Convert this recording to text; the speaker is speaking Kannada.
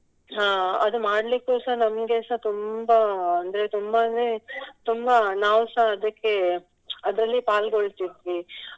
ಅಹ್ ಅದು ಮಾಡ್ಲಿಕ್ಕೆಸ ನಮ್ಗೆಸ ತುಂಬಾ ಅಂದ್ರೆ ತುಂಬಾ ಅಂದ್ರೆ ತುಂಬಾ ನಾವುಸ ಅದಕ್ಕೆ ಅದರಲ್ಲಿ ಪಾಲ್ಗೊಳ್ತಿದ್ವಿ.